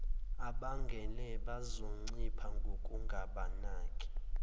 abangenele bazoncipha ngokungabaniki